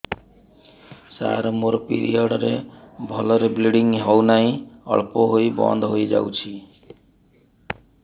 ସାର ମୋର ପିରିଅଡ଼ ରେ ଭଲରେ ବ୍ଲିଡ଼ିଙ୍ଗ ହଉନାହିଁ ଅଳ୍ପ ହୋଇ ବନ୍ଦ ହୋଇଯାଉଛି